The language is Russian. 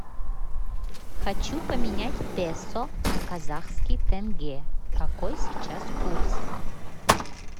хочу поменять песо на казахский тенге какой сейчас курс